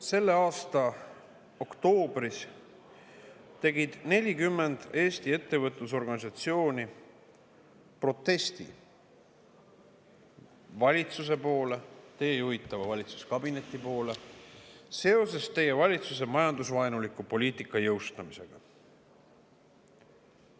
Selle aasta oktoobris 40 Eesti ettevõtlusorganisatsiooni protestiga valitsuse poole, teie juhitava valitsuskabineti poole seoses teie valitsuse majandusvaenuliku poliitika jõustamisega.